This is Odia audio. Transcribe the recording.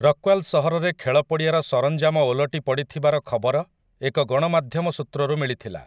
ରକ୍ୱାଲ୍ ସହରରେ ଖେଳ ପଡ଼ିଆର ସରଞ୍ଜାମ ଓଲଟି ପଡ଼ିଥିବାର ଖବର ଏକ ଗଣମାଧ୍ୟମ ସୂତ୍ରରୁ ମିଳିଥିଲା ।